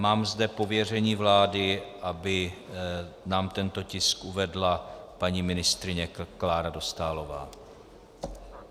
Mám zde pověření vlády, aby nám tento tisk uvedla paní ministryně Klára Dostálová.